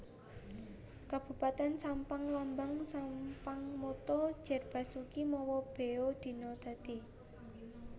Kabupatèn SampangLambang SampangMotto Jer Basuki Mowo Beo Dina Dadi